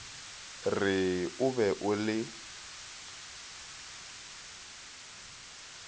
re o be o le